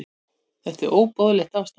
Þetta er óboðlegt ástand.